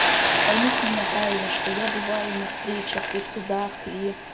поймите меня правильно что я бываю на встречах и в судах и